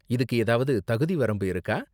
இதுக்கு ஏதாவது தகுதிவரம்பு இருக்கா?